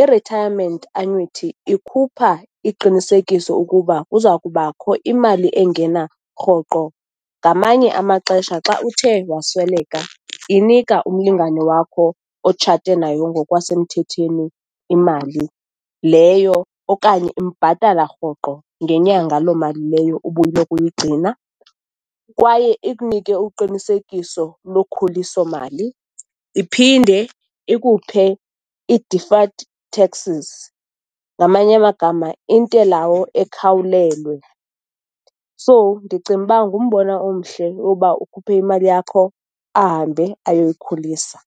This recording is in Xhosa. I-retirement annuity ikhupha iqinisekiso ukuba kuza kubakho imali engena rhoqo. Ngamanye amaxesha xa uthe wasweleka, inika umlingane wakho otshate nayo ngokwasemthetheni imali leyo, okanye imbhatala rhoqo ngenyanga loo mali leyo ubuloko uyigcina, kwaye ikunike uqinisekiso lokhuliso mali, iphinde ikuphe i-deferred taxes, ngamanye amagama, intelawo ekhawulelwe. So, ndicimba ngumbono omhle ukuba ukhuphe imali yakho, ahambe ayoyikhulisa.